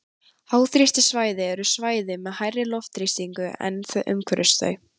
háþrýstisvæði eru svæði með hærri loftþrýsting en er umhverfis þau